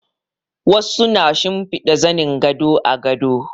Wasu na shimfida zanin gado a gado